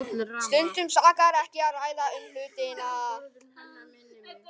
Stundum sakar ekki að ræða um hlutina.